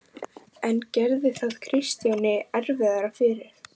En gerði það Kristjáni erfiðara fyrir?